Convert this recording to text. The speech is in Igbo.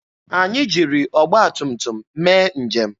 Anyị jiri ọgba tum tum mee njem.